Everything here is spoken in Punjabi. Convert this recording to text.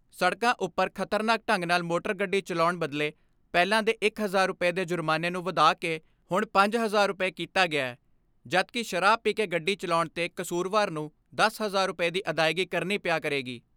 ਸੜਕਾਂ ਉੱਪਰ ਖਤਰਨਾਕ ਢੰਗ ਨਾਲ਼ ਮੋਟਰ ਗੱਡੀ ਚਲਾਉਣ ਬਦਲੇ ਪਹਿਲਾਂ ਦੇ ਇੱਕ ਹਜਾਰ ਰੁਪਏ ਦੇ ਜੁਰਮਾਨੇ ਨੂੰ ਵਧਾ ਕੇ ਹੁਣ ਪੰਜ ਹਜਾਰ ਰੁਪਏ ਕੀਤਾ ਗਿਐ ਜਦਕਿ ਸ਼ਰਾਬ ਪੀ ਕੇ ਗੱਡੀ ਚਲਾਉਣ ਤੇ ਕਸੂਰਵਾਰ ਨੂੰ ਦਸ ਹਜਾਰ ਰੁਪਏ ਦੀ ਅਦਾਇਗੀ ਕਰਣੀ ਪਿਆ ਕਰੇਗੀ।